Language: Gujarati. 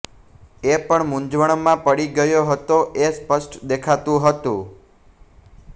એ પણ મુંઝવણમાં પડી ગયો હતો એ સ્પષ્ટ દેખાતું હતું